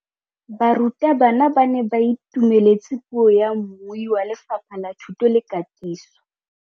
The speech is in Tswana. Barutabana ba ne ba itumeletse puô ya mmui wa Lefapha la Thuto le Katiso.